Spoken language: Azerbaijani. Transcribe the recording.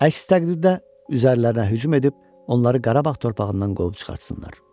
Əks təqdirdə üzərlərinə hücum edib, onları Qarabağ torpağından qovub çıxartsınlar.